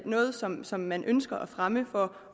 noget som som man ønsker at fremme for